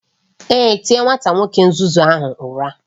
Èé, tie nwa nwoke nzuzu ahụ ụra